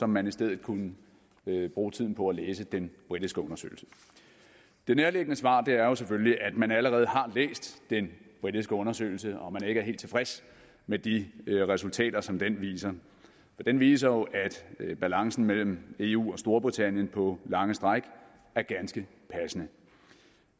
man i stedet kunne bruge tiden på at læse den britiske undersøgelse det nærliggende svar er jo selvfølgelig at man allerede har læst den britiske undersøgelse og at man ikke er helt tilfreds med de resultater som den viser for den viser jo at balancen mellem eu og storbritannien på lange stræk er ganske passende